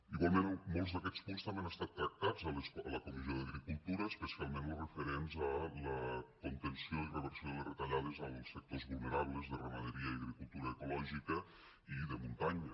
igualment molts d’aquests punts també han estat tractats a la comissió d’agricultura especialment los referents a la contenció i reversió de les retallades als sectors vulnerables de ramaderia i agricultura ecològica i de muntanya